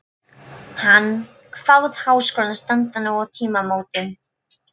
Hann kvað Háskólann standa nú á tímamótum.